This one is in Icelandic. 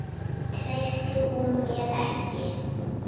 Treysti hún mér ekki?